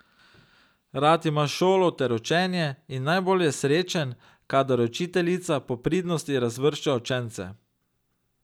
Rad ima šolo ter učenje in najbolj je srečen, kadar učiteljica po pridnosti razvršča učence.